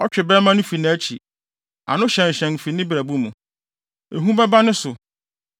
Ɔtwe bɛmma no fi nʼakyi, ano hyɛnhyɛn no fi ne brɛbo mu. Ehu bɛba ne so;